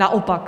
Naopak.